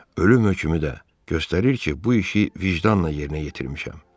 Ölüm hökmü də göstərir ki, bu işi vicdanla yerinə yetirmişəm.